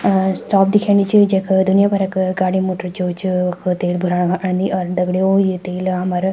अ साफ दिखेणी च जख दुनिया भर क गाडी मोटर जो च वख तेल भुराना खन आंदी और दगडियों ये तेल हमर --